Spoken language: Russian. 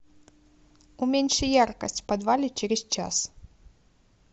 уменьши яркость в подвале через час